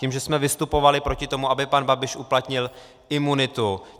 Tím, že jsme vystupovali proti tomu, aby pan Babiš uplatnil imunitu.